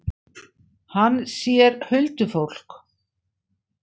Hann sér huldufólk.